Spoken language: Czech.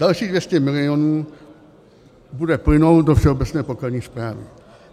Dalších 200 milionů bude plynout do Všeobecné pokladní správy.